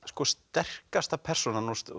sterkasta persónan